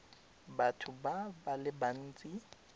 batho ba le bantsi ba